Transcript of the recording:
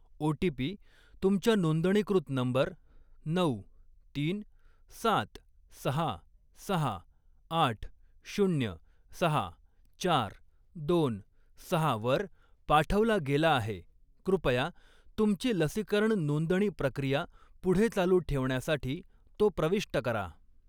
OTP. तुमच्या नोंदणीकृत number नऊ, तीन, सात, सहा, सहा, आठ, शून्य, सहा, चार, दोन, सहा वर पाठवला गेला आहे, कृपया तुमची लसीकरण नोंदणी प्रक्रिया पुढे चालू ठेवण्यासाठी तो प्रविष्ट करा.